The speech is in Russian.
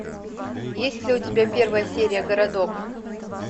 есть ли у тебя первая серия городок